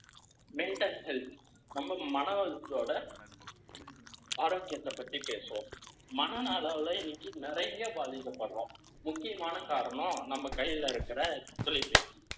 ஆரோக்கியத்தை பத்தி பேசுவோம். மன அளவுல இன்னைக்கு நிறைய பாதிக்கப்படுறோம். முக்கியமான காரணம் நம்ம கையில இருக்கிற ஒத்துழைப்பு mentel space